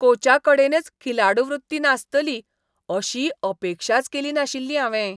कोचाकडेनच खिलाडू वृत्ती नासतली अशी अपेक्षाच केली नाशिल्ली हावें.